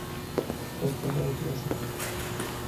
как пожарить мясо